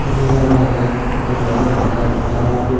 suguri gajo agey narigul gajo dega jar arow sot.